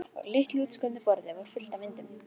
Á litlu útskornu borði var fullt af myndum.